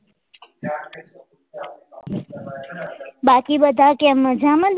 બાકી બધા કેમ મજામાં ને તમારે?